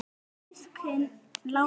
Öll eru þau systkin látin.